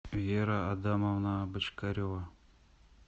вера адамовна бочкарева